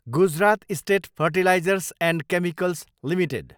Gujarat state fertilizers and chemicals limited